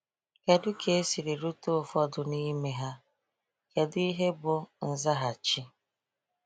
Kedu ka e siri rute ụfọdụ n’ime ha, kedu ihe bụ nzaghachi?